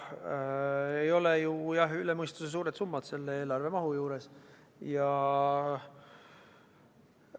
Need ei ole üle mõistuse suured summad selle eelarve mahtu arvestades.